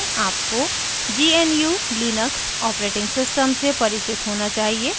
आपको GNU Linux operating system से परिचित होना चाहिए